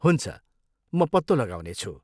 हुन्छ, म पत्तो लगाउनेछु।